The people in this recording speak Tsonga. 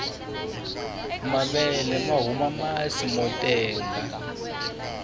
mavele mahuma masi motenga